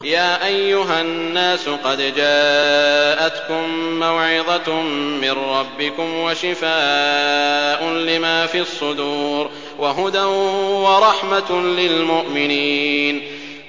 يَا أَيُّهَا النَّاسُ قَدْ جَاءَتْكُم مَّوْعِظَةٌ مِّن رَّبِّكُمْ وَشِفَاءٌ لِّمَا فِي الصُّدُورِ وَهُدًى وَرَحْمَةٌ لِّلْمُؤْمِنِينَ